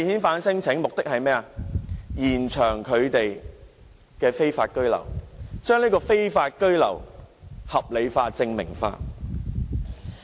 就是為了延長他們的非法居留，將非法居留合理化、正名化。